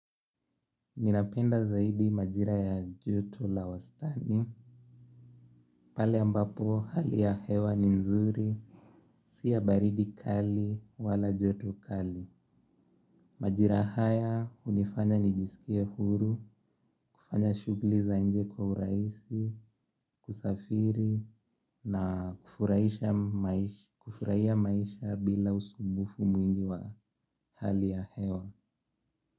Ninapenda zaidi majira ya joto la wastani. Pale ambapo hali ya hewa ni nzuri. Si ya baridi kali wala joto kali. Majira haya hunifanya nijisikie huru. Kufanya shughuli za nje kwa urahisi. Kusafiri na kufurahia maisha bila usumbufu mwingi wa hali ya hewa.